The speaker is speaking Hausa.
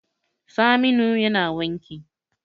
Saminu yana wanki